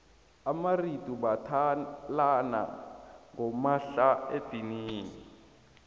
amaritu bathalana ngomahlaedinini